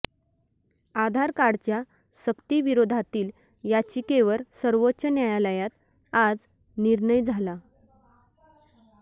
आधार कार्डच्या सक्तीविरोधातील याचिकेवर सर्वोच्च न्यायालयात आज निर्णय झाला